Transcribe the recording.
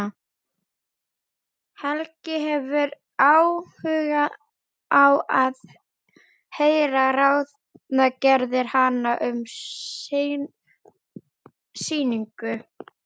Helgi hefur áhuga á að heyra ráðagerðir hennar um sýningu.